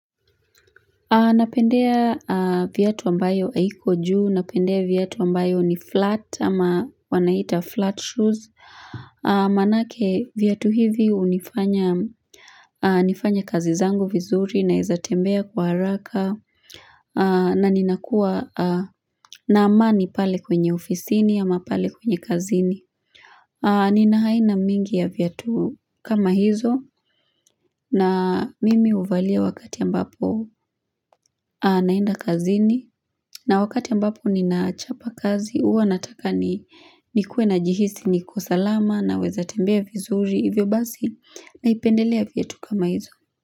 Napendea viatu ambayo hayiko juu, napendea viatu ambayo ni flat ama wanaita flat shoes. Manake viatu hivi hunifanya nifanye kazi zangu vizuri na wezatembea kwa haraka na nina kuwa na amani pale kwenye ofisini ama pale kwenye kazini. Ni aina mingi ya viatu kama hizo na mimi huvalia wakati ambapo naenda kazini na wakati ambapo ni nachapa kazi huwanataka ni ni kue na jihisi nikosalama na weza tembea vizuri hivyo basi na ipendelea viatu kama hizo.